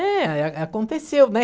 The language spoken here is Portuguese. É, é é aconteceu, né?